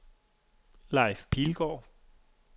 Leif Pilgaard